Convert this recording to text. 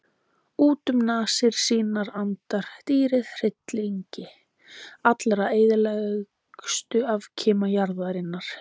Út um nasir sínar andar dýrið hryllingi allra eyðilegustu afkima jarðarinnar.